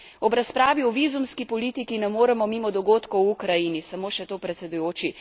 Ob razpravi o vizumski politiki ne moremo mimo dogodkov v Ukrajini, samo še to, predsedujoči.